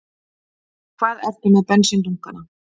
Hvar ertu með bensíndunkana?